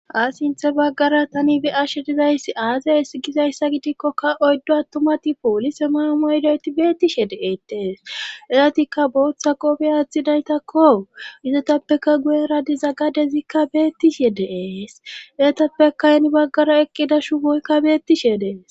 A sinthe baggara tani be ashe dizayssi aasayes gizayssa gidikkoka oyddo attumati poolise maama ydoyti beettishe deeetees eratikka booththa qofe aaththidaytakko izetappeka guye radiza gadezikka beettishe dees eyatappe kayni baggara eqqida shuboykka beettishe dees.